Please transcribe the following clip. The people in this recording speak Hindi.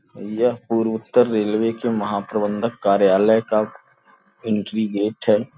यह पूर्व उत्तर रेलवे के महाप्रबंधक कार्यालय का एंट्री गेट है।